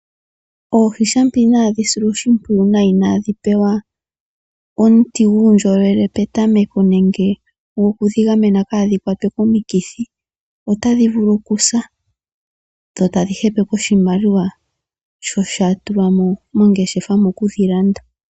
Oohi shampa inadhi silwa oshipwiyu nawa, inadhi pewa omuti guundjolowele petameko, goku dhi gamena kaadhi kwatwe komukithi, otadhi vulu okusa dho tadhi hepeke oshimaliwa shoka sha tulwamo mongeshefa mokudhi landa.